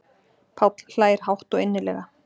Páll hlær hátt og innilega.